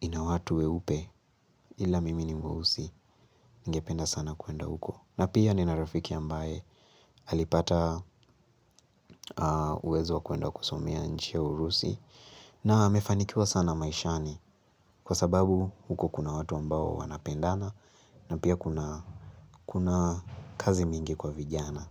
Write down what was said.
ina watu weupe ila mimi ni mweusi ningependa sana kwenda huko na pia nina rafiki ambaye alipata uwezo wa kwenda kusomea nchi ya urusi. Na amefanikiwa sana maishani kwa sababu huko kuna watu ambao wanapendana. Na pia kuna kazi mingi kwa vijana.